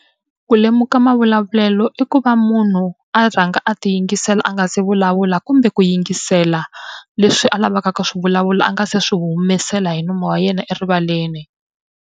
Ku lemuka mavulavulelo i ku va munhu a rhanga a tiyingisela a nga se vulavula kumbe ku yingisela leswi a lavaka ku swi vulavula a nga se swi humesela hi nomu wa yena erivaleni.